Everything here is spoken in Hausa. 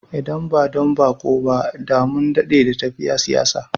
Idan ba don baƙo ba, da mun dade da tafiya yin siyayya